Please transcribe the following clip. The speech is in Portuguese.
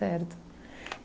Certo.